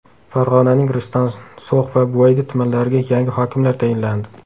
Farg‘onaning Rishton, So‘x va Buvayda tumanlariga yangi hokimlar tayinlandi.